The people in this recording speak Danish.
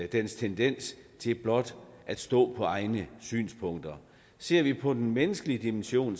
dens tendens til blot at stå på egne synspunkter ser vi på den menneskelige dimension